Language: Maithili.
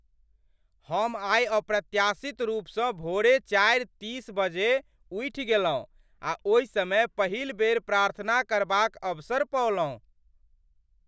हम आइ अप्रत्याशित रूपसँ भोरे चारि तीस बजे उठि गेलहुँ आ ओहि समय पहिल बेर प्रार्थना करबाक अवसर पओलहुँ।